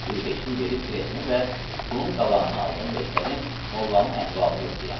Bir beşlik verib biletimi və pulun qalanını aldım və istədim mollanın əhvalını yoxlayam.